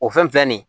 O fɛn filɛ nin ye